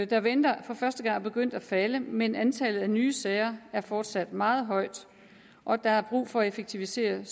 der venter for første gang er begyndt at falde men antallet af nye sager er fortsat meget højt og der er brug for at effektivisere